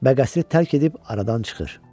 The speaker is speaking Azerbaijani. Bəqəsli tərk edib aradan çıxır.